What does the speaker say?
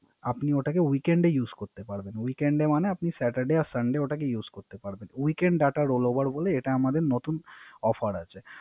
আপনার ওটাকে Weekend use করতে পারবেন। weakened use মানে Saturday or sunday use করতে পারবেন। weakened role over হলো এটা আমাদের Offer